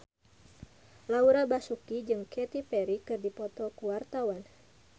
Laura Basuki jeung Katy Perry keur dipoto ku wartawan